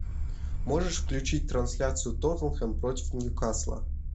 можешь включить трансляцию тоттенхэм против ньюкасла